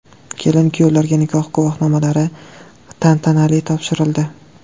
Kelin-kuyovlarga nikoh guvohnomalari tantanali topshirildi.